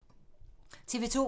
TV 2